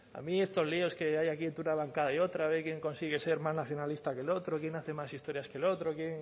a mí estos líos que hay aquí entre una bancada y otra a ver quién consigue ser más nacionalista que el otro quién hace más historias que el otro quién